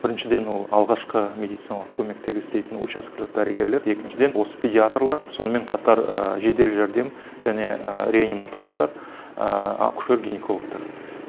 біріншіден ол алғашқы медициналық көмектегі істейтін учаскелік дәрігерлер екіншіден осы педиаторлар сонымен қатар жедел жәрдем және реаниматологтар акушер гинекологтар